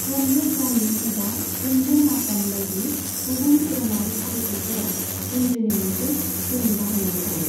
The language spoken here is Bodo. जन्जीर जानी एबा जन्जीर मातम बायदि गुबुन धोरोमारि फालिथायफोराव जिनज्रिनि मोनसे सेइन बाहायनाय थायो।